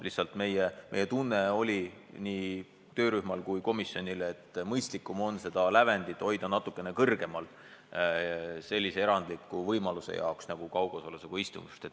Lihtsalt nii töörühma kui ka komisjoni arvates on mõistlikum hoida seda lävendit natuke kõrgemal sellise erandliku ettevõtmise jaoks nagu kaugosalisega istung.